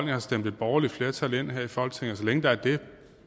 har stemt et borgerligt flertal ind her i folketinget og så længe der er det